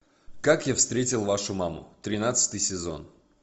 как я встретил вашу маму тринадцатый сезон